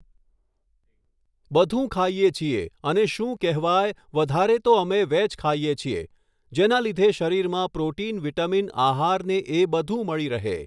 બધું ખાઈએ છીએ અને શું કહેવાય વધારે તો અમે વેજ ખાઈએ છીએ જેના લીધે શરીરમાં પ્રોટિન વિટામિન આહાર ને એ બધું મળી રહે